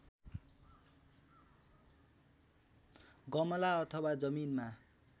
गमला अथवा जमिनमा